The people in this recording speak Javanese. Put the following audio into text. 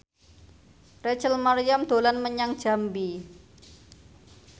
Rachel Maryam dolan menyang Jambi